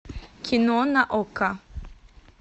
кино на окко